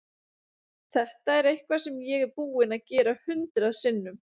Þetta er eitthvað sem ég er búinn að gera hundrað sinnum.